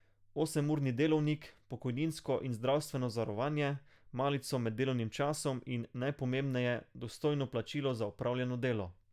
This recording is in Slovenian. Osemurni delovnik, pokojninsko in zdravstveno zavarovanje, malico med delovnim časom in, najpomembneje, dostojno plačilo za opravljeno delo.